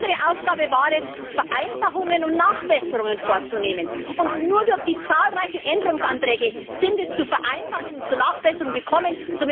Unsere Aufgabe war es, Vereinfachungen und Nachbesserungen vorzunehmen, und nur durch die zahlreichen Änderungsanträge ist es zu Vereinfachungen und zu Nachbesserungen gekommen.